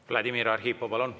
Vladimir Arhipov, palun!